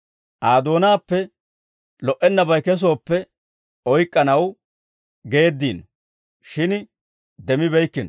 Aa doonaappe lo"ennabay kesooppe oyk'k'anaw geeddiino; shin demmibeykkino.